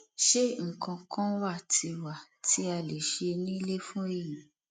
ṣé nǹkan kan wà tí wà tí a lè ṣe nílé fún èyí